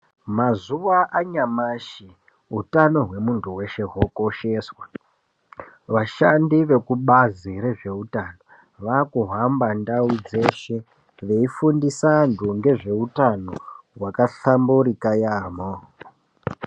Mazuwa anyamashi utano hwemuntu weshe hokosheswa. Vashandi vekubazi rezveutano vakuhamba ndau dzeshe veifundisa antu ngezveutano hwakahlamburika yaamo.